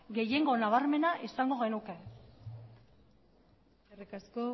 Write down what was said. gehiengo nabarmena izango genuke eskerrik asko